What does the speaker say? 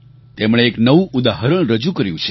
તેમણે એક નવું ઉદાહરણ રજૂ કર્યું છે